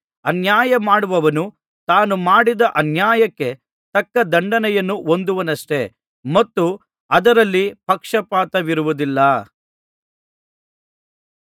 ಅನ್ಯಾಯಮಾಡುವವನು ತಾನು ಮಾಡಿದ ಅನ್ಯಾಯಕ್ಕೆ ತಕ್ಕ ದಂಡನೆಯನ್ನು ಹೊಂದುವನಷ್ಟೆ ಮತ್ತು ಅದರಲ್ಲಿ ಪಕ್ಷಪಾತವಿರುವುದಿಲ್ಲ